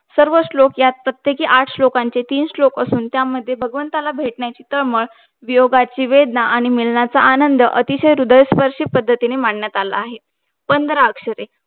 सर्व श्लोक यात प्रत्येक आठ श्लोकांचे तीन श्लोक असून त्यामध्ये भगवंताला भेटण्याची तळमळ वियोगाची वेदना आणि मिळण्याचा आनंद अतिशय ह्रदयस्पर्शी पद्धतीने मांडण्यात आहे